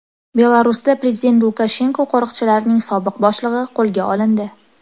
Belarusda prezident Lukashenko qo‘riqchilarining sobiq boshlig‘i qo‘lga olindi.